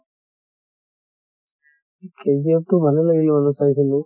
KGF তো ভালে লাগিলে বাৰু চাইছিলো।